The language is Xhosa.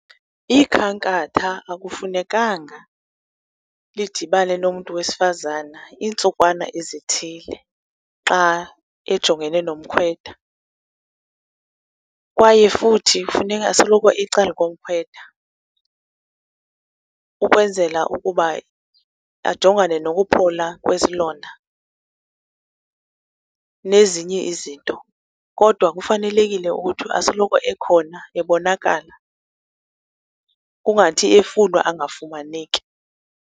Ikhankatha akufunekanga lidibane nomntu wesifazana iintsukwana ezithile xa ejongene nomkhwetha. Kwaye futhi funeka asoloko ecalkomkhwetha ukwenzela ukuba ajongane nokuphola kwesilonda, nezinye izinto. Kodwa kufanelekile ukuthi asoloko ekhona, ebonakala, kungathi efunwa angafumaneki.